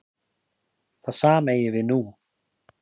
Það sama eigi við nú.